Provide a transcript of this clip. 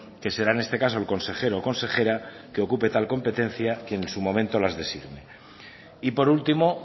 que será en este caso el consejero o consejera que ocupe tal competencia y que en su momento las designe y por último